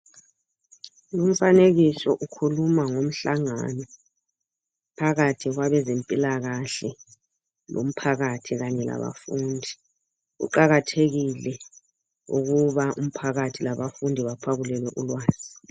umfanekiso ukhuluma ngomhlangano phakathi kwabezempilakahle lomphakathi kanye labafundi kuqakathekile ukuba umphakathi labafundi baphakulelwe ulwazi